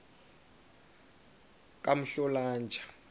kamhlolanja